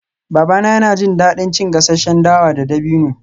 Babana yana jin daɗin cin gasasshen dawa da dabino